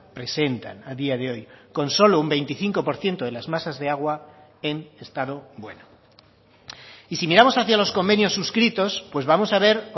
presentan a día de hoy con solo un veinticinco por ciento de las masas de agua en estado bueno y si miramos hacia los convenios suscritos pues vamos a ver